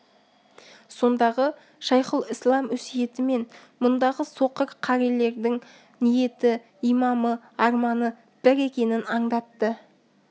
сондағы шайхұлісләм өсиеті мен мұндағы соқыр қарилердің ниеті имамы арманы бір екенін аңдатты